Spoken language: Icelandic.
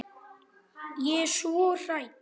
Ég er svo hrædd.